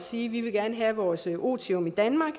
sige vi vil gerne have vores otium i danmark